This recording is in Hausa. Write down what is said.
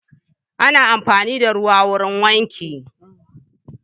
Ana amfani da ruwa wurin wanki.